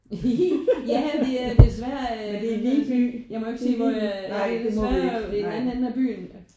Ja vi er desværre jeg må jo ikke sige hvor vi ja det er desværre i den anden ende af byen